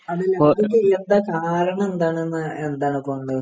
അതല്ല അത് കാരണം എന്താണെന്ന് എന്താണ്